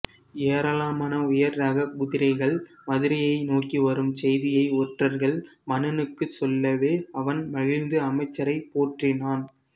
ஏராளமான உயர் ரகக் குதிரைகள் மதுரையை நோக்கி வரும் செய்தியை ஒற்றர்கள் மன்னனுக்குச் சொல்லவே அவன் மகிழ்ந்து அமைச்சரைப் போற்றினான்